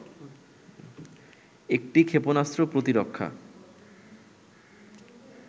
একটি ক্ষেপণাস্ত্র প্রতিরক্ষা